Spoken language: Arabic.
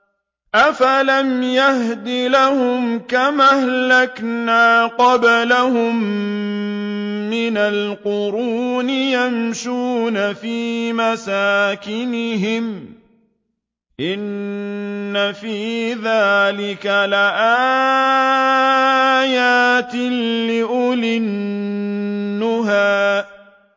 أَفَلَمْ يَهْدِ لَهُمْ كَمْ أَهْلَكْنَا قَبْلَهُم مِّنَ الْقُرُونِ يَمْشُونَ فِي مَسَاكِنِهِمْ ۗ إِنَّ فِي ذَٰلِكَ لَآيَاتٍ لِّأُولِي النُّهَىٰ